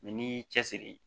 n'i y'i cɛsiri